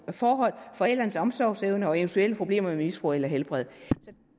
forhold forældrenes omsorgsevne og eventuelle problemer med misbrug eller helbred der